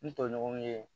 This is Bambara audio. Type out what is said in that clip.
N tɔɲɔgɔnw ye